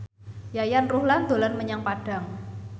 Yayan Ruhlan dolan menyang Padang